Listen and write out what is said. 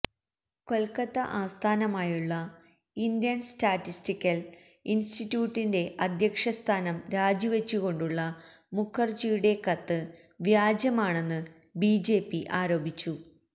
കൊല്ക്കത്ത ആസ്ഥാനമായുള്ള Indian statistical ഇന്സ്റ്ററ്റ്യൂട്ടിന്റെ അധ്യക്ഷസ്ഥാനം രാജിവെച്ചുകൊണ്ടുള്ള മുഖര്ജിയുടെ കത്ത് വ്യാജമാണെന്ന് ബിജെപി ആരോപിച്ചു